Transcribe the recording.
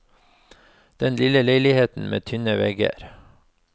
Den lille leiligheten med tynne vegger.